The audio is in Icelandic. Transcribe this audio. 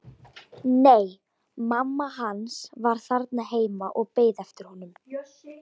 Nei, mamma hans var þarna heima og beið eftir honum.